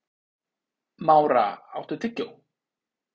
Mára, áttu tyggjó?